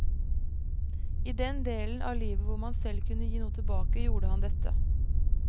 I den delen av livet hvor han selv kunne gi noe tilbake, gjorde han dette.